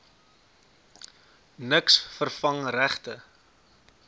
niks vervang regte